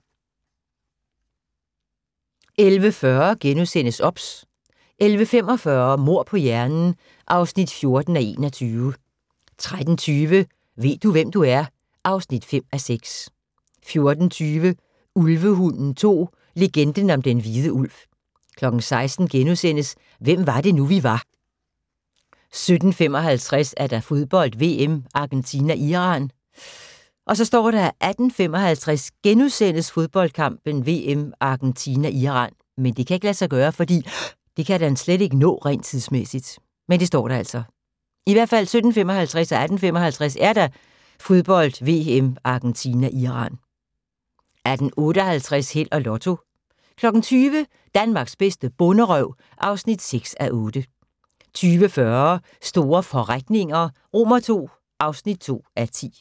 11:40: OBS * 11:45: Mord på hjernen (14:21) 13:20: Ved du, hvem du er? (5:6) 14:20: Ulvehunden 2: Legenden om den hvide ulv 16:00: Hvem var det nu, vi var * 17:55: Fodbold: VM - Argentina-Iran 18:55: Fodbold: VM - Argentina-Iran * 18:58: Held og Lotto 20:00: Danmarks bedste bonderøv (6:8) 20:40: Store forretninger II (2:10)